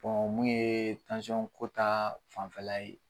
mun ye tansɔnko ta fanfɛla ye.